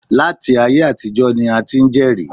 Láti ayé àtijọ́ ni a ti ń jẹ́rìí